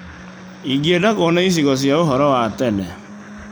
Ingĩenda kuona icigo cia ũhoro wa tene.